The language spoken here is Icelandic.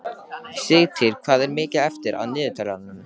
Sigtýr, hvað er mikið eftir af niðurteljaranum?